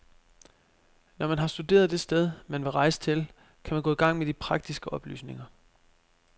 Når man har studeret det sted, man vil rejse til, kan man gå i gang med de praktiske oplysninger.